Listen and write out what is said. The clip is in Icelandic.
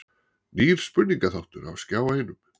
Nýr spurningaþáttur á Skjá einum